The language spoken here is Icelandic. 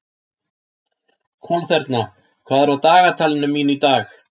Kolþerna, hvað er á dagatalinu mínu í dag?